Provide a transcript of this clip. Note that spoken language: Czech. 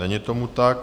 Není tomu tak.